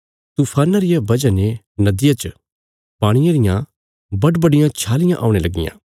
तूफाना रिया बजह ने नदिया च पाणिये रियां बडबडियां छालियां औणे लगियां